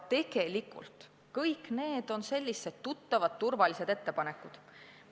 Tegelikult on need kõik sellised tuttavad ja turvalised ettepanekud.